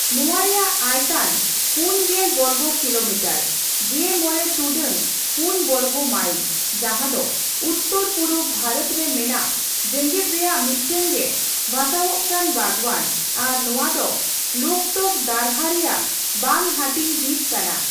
ᱱᱚᱣᱟ ᱨᱮᱭᱟᱜ ᱟᱭᱛᱟᱱ ᱯᱩᱱᱜᱮᱞ ᱵᱚᱨᱜᱚ ᱠᱤᱞᱳᱢᱤᱴᱟᱨ (᱑᱕ᱹ᱔ ᱵᱚᱨᱜᱚ ᱢᱟᱭᱤᱞ) ᱡᱟᱸᱦᱟ ᱫᱚ ᱩᱛᱛᱚᱨᱼᱯᱩᱨᱩᱵᱽ ᱵᱷᱟᱨᱚᱛ ᱨᱮ ᱢᱮᱱᱟᱜ ᱡᱮᱜᱮᱫ ᱨᱮᱭᱟᱜ ᱢᱤᱫᱴᱟᱝᱜᱮ ᱵᱷᱟᱥᱟᱣᱚᱜᱠᱟᱱ ᱵᱟᱜᱽᱣᱟᱱ ᱟᱨ ᱱᱚᱣᱟ ᱫᱚ ᱞᱳᱠᱛᱚᱠ ᱫᱷᱟᱨᱦᱟ ᱨᱮᱭᱟᱜ ᱵᱟᱝ ᱦᱟᱴᱤᱧ ᱦᱤᱸᱥ ᱠᱟᱱᱟ ᱾